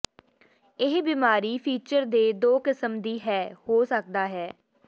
ਇਹ ਬਿਮਾਰੀ ਫੀਚਰ ਦੇ ਦੋ ਕਿਸਮ ਦੀ ਹੈ ਹੋ ਸਕਦਾ ਹੈ